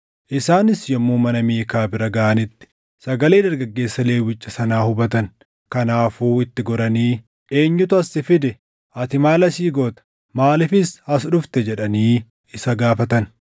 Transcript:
Isaanis yommuu mana Miikaa bira gaʼanitti sagalee dargaggeessa Lewwicha sanaa hubatan; kanaafuu itti goranii, “Eenyutu as si fide? Ati maal asii goota? Maaliifis as dhufte?” jedhanii isa gaafatan.